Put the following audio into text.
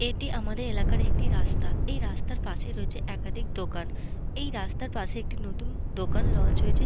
এটি আমাদের এলাকার একটি রাস্তা। এই রাস্তার পাশেই রয়েছে একাধিক দোকান। এই রাস্তার পাশেই একটি নতুন দোকান লঞ্চ হয়েছে।